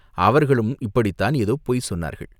அவர்களும் இப்படித்தான் ஏதோ பொய் சொன்னார்கள்.